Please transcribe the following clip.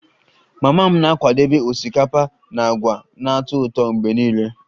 Mama m na-akwadebe osikapa na agwa na-atọ ụtọ mgbe niile